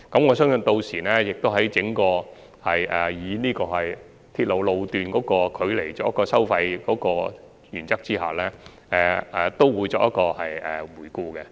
我相信港鐵公司屆時亦會在整體按照鐵路路段距離收費的原則下作出檢討。